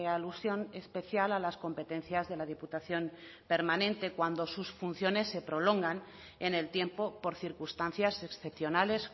alusión especial a las competencias de la diputación permanente cuando sus funciones se prolongan en el tiempo por circunstancias excepcionales